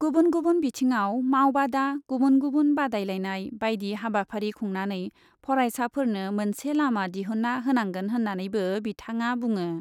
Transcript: गुबुन गुबुन बिथिङाव मावबादा, गुबुन गुबुन बादायलायनाय बायदि हाबाफारि खुंनानै फरायसाफोरनो मोनसे लामा दिहुन्ना होनांगोन होन्नानैबो बिथाङा बुङो।